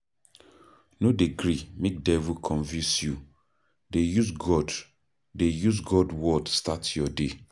No dey gree make devil confuse you, dey use God dey use God word start your day.